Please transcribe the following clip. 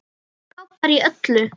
Frábær í öllu!